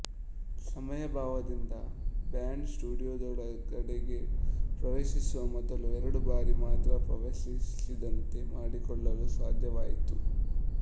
ಸಮಯಾಭಾವದಿಂದ band ಸ್ಟುಡಿಯೊದೊಳಗಡೆಗೆ ಪ್ರವೇಶಿಸುವ ಮೊದಲು ಎರಡು ಬಾರಿ ಮಾತ್ರ ಪೂರ್ವಸಿದ್ದತೆ ಮಾಡಿಕೊಳ್ಳಲು ಸಾಧ್ಯವಾಯಿತು